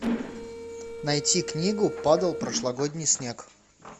найти книгу падал прошлогодний снег